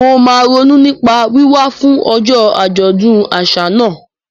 Mo máa ronú nípa wíwá fún ọjọ́ àjọ̀dún àṣà náà.